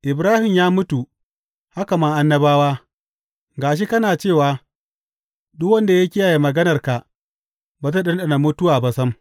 Ibrahim ya mutu haka ma annabawa, ga shi kana cewa duk wanda ya kiyaye maganarka ba zai ɗanɗana mutuwa ba sam.